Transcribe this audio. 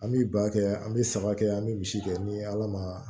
An bi ba kɛ an be saba kɛ an be misi kɛ ni ala ma